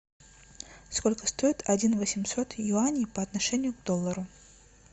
сколько стоит один восемьсот юаней по отношению к доллару